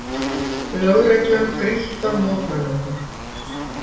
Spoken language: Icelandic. Lögreglan grýtt af mótmælendum